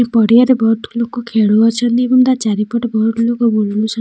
ଏ ପରିବାର ରେ ବହୁତ୍ ଲୋକ ଖାଉଛନ୍ତି ଏବଂ ଚାରି ପଟେ ବହୁତ୍ ଲୋକ।